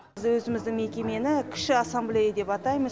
біз өзіміздің мекемені кіші ассамблея деп атаймыз